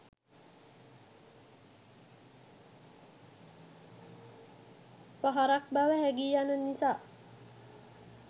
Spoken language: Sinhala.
පහරක් බව හැගී යන නිසා